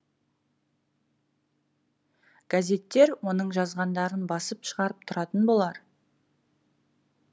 газеттер оның жазғандарын басып шығарып тұратын болар